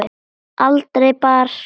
Aldrei bar skugga þar á.